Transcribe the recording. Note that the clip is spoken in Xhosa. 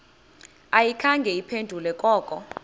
ayikhange iphendule koko